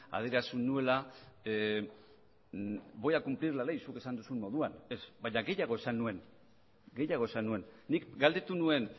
adierazi nuela voy a cumplir la ley zuk esan duzun moduan ez baina gehiago esan nuen gehiago esan nuen nik galdetu nuen